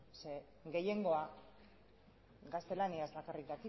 zeren gehiengoa gaztelaniaz bakarrik